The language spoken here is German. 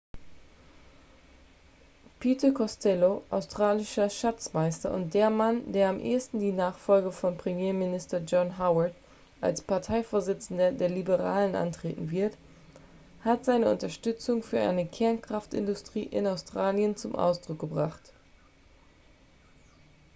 peter costello australischer schatzmeister und der mann der am ehesten die nachfolge von premierminister john howard als parteivorsitzender der liberalen antreten wird hat seine unterstützung für eine kernkraftindustrie in australien zum ausdruck gebracht